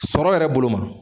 Sɔrɔ yɛrɛ bolo ma